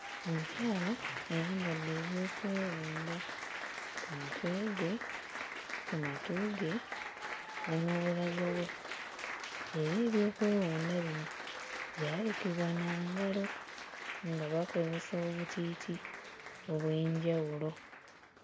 Omukyala ayambadde ebyokwewunda ku mutwe gwe, ku matu ge, ne mu bulago bwe era ebyokwewunda bino byalukibwa na ngalo nga bakozesa obutiiti obw'enjawulo.